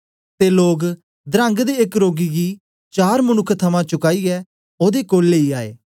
ते लोग धरंग दे एक रोगी गी चार मनुक्ख थमां चूकाईऐ ओदे कोल लेई आए